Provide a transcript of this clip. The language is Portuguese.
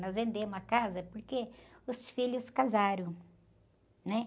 Nós vendemos a casa porque os filhos casaram, né?